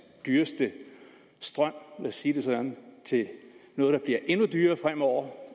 dyreste strøm os sige det sådan til noget der bliver endnu dyrere fremover